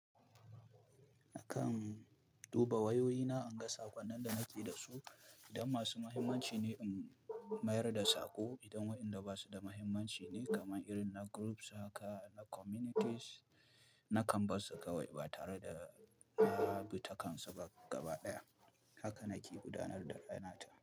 A kan duba wayoyina, in ga sakonnin da na ke da su. Idan masu mahimmanci ne, in mayar da saƙo. Idan waɗanda ba su da mahimmanci ne, kamar irin na groups haka, na communities, na kan barsu kawai ba tare da na bi takansu ba gaba ɗaya. Haka na ƙi gudanar da rayuwata.